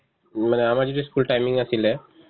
মানে আমাৰ যেতিয়া school timing আছিলে